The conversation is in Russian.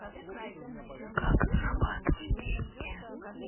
как зарабатывать деньги